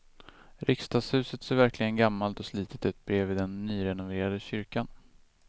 Riksdagshuset ser verkligen gammalt och slitet ut bredvid den nyrenoverade kyrkan.